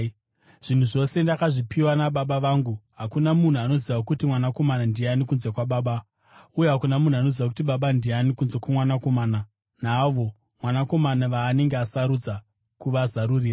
“Zvinhu zvose ndakazvipiwa naBaba vangu. Hakuna munhu anoziva kuti Mwanakomana ndiani kunze kwaBaba, uye hakuna munhu anoziva kuti Baba ndiani kunze kwoMwanakomana naavo Mwanakomana vaanenge asarudza kuvazarurira.”